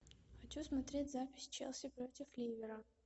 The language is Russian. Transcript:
хочу смотреть запись челси против ливера